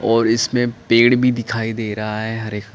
और इसमें पेड़ भी दिखाई दे रहा है हरे --